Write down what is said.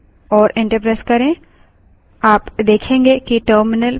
कुछ गलत password दीजिए और enter प्रेस करें